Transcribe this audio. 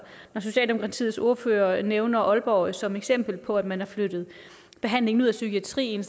socialdemokratiets ordfører nævner aalborg som eksempel på at man har flyttet behandlingen ud af psykiatrien